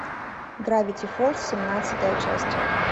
гравити фолз семнадцатая часть